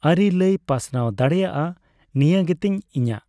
ᱟᱨᱤ ᱞᱟᱹᱭ ᱯᱟᱥᱱᱟᱣ ᱫᱟᱲᱮᱭᱟᱼᱟ ᱱᱤᱭᱟᱹ ᱜᱮᱛᱤᱧ ᱤᱧᱟᱹᱜ